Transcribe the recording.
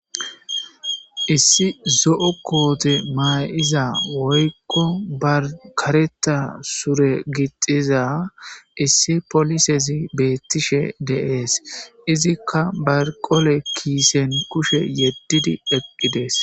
Issi zo'o kote mayiza woykon karxa sure gixida issi polisezi betishe de'es izzika barqole kisen kushe yedidi eqides